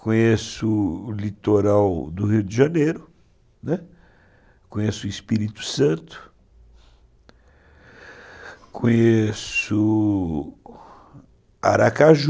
Conheço o litoral do Rio de Janeiro, conheço o Espírito Santo, conheço Aracaju.